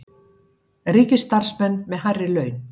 Ríkisstarfsmenn með hærri laun